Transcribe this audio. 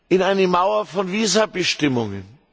ein, hinter einer Mauer von Visabestimmungen.